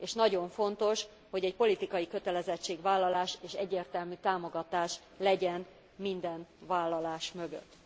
És nagyon fontos, hogy politikai kötelezettségvállalás és egyértelmű támogatás legyen minden vállalás mögött.